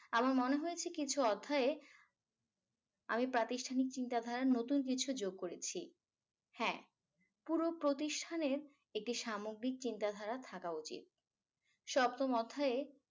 আমার মনে হয়েছে কিছু অধ্যায়ে আমি প্রাতিষ্ঠানিক চিন্তাধারার নতুন কিছু যোগ করেছি হ্যা পুরো প্রতিষ্ঠানের একটি সামগ্রিক চিন্তাধারা থাকা উচিত সপ্তম অধ্যায়ে